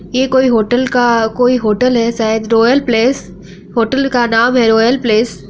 ये कोई होटल का कोई होटल है शायद रॉयल प्लेस | होटल का नाम है रॉयल प्लेस ।